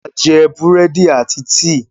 A jẹ burẹdi àti tíí.